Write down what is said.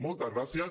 moltes gràcies